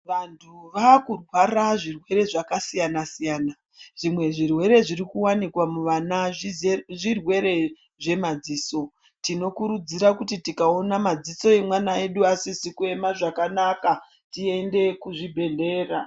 Vanthu vaakurwara zvirwere zvakasiyana siyana, zvimwe zvirwere zviri kuwanikwa muvana zvirwere zvemaziso tinokurudzira kuti tikaona madziso emwana wedu asizi kuema zvakanaka tiende kuzvibhedhera.